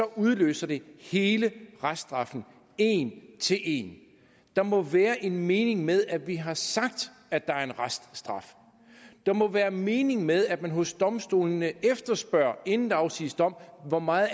udløse hele reststraffen en til en der må være en mening med at vi har sagt at der er en reststraf der må være en mening med at man hos domstolene efterspørger inden der afsiges dom hvor meget